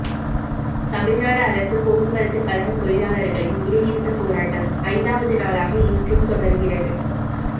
தமிழ்நாடு அரசு போக்குவரத்து கழக தொழிலாளர்களின் வேலைநிறுத்தப் போராட்டம் ஐந்தாவது நாளாக இன்றும் தொடருகிறது